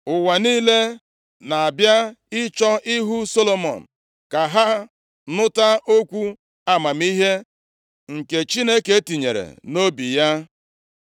Ụwa niile na-abịa ịchọ ihu Solomọn ka ha nụta okwu amamihe nke Chineke tinyere nʼobi ya.